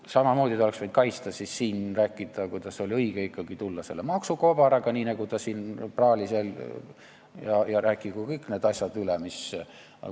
Samamoodi ta oleks võinud kaitsta siin seda, kuidas oli ikkagi õige tulla selle maksukobaraga, nagu ta siin praalis, ja rääkida kõik need asjad üle.